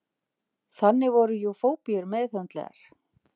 Þannig voru jú fóbíur meðhöndlaðar.